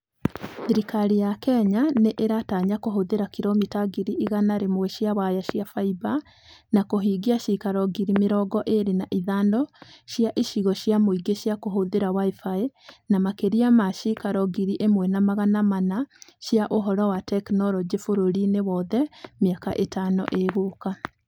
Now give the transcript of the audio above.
Thirikari ya Kenya nĩ ĩratanya kũhũthĩra kilomita ngiri igana rĩmwe cia waya cia fibre na kũhingia ciikaro ngiri mĩrongo ĩĩrĩ na ithano cia icigo cia mũingĩ cia kũhũthĩra WIFI na makĩria ma ciikaro ngiri ĩmwe na magana mana cia Ũhoro na Teknoroji bũrũri-inĩ wothe mĩaka ĩtano ĩgũka.